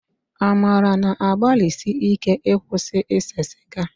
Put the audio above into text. Amara na-agbalisi íké ịkwụsị ise sịga